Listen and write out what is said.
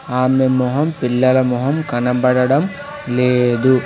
ఆమె మొహం పిల్లల మొహం కనపడడం లేదు.